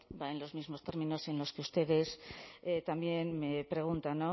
va en los mismos términos en los ustedes también me preguntan